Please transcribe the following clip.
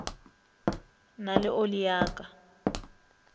na le oli ya ka